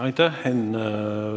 Aitäh, Henn!